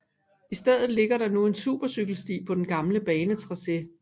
I stedet ligger der nu en supercykelsti på den gamle banetracé